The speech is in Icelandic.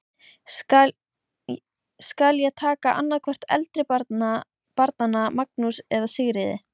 Skal ég taka annað hvort eldri barnanna, Magnús eða Sigríði.